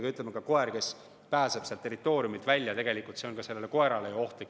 Kui koer pääseb oma territooriumilt välja, siis see tegelikult on ka temale ohtlik.